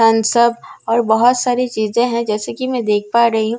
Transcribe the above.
सब और बहुत सारी चीजें है जैसे की मैं देख पा रही हूँ औ --